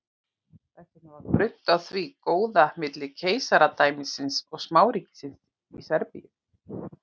Þess vegna var grunnt á því góða milli keisaradæmisins og smáríkisins Serbíu.